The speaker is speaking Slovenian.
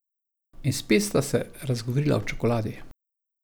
In spet sta se razgovorila o čokoladi.